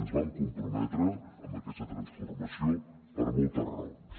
ens vam comprometre amb aquesta transformació per moltes raons